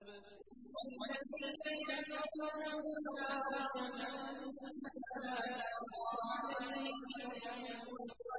وَالَّذِينَ كَفَرُوا لَهُمْ نَارُ جَهَنَّمَ لَا يُقْضَىٰ عَلَيْهِمْ فَيَمُوتُوا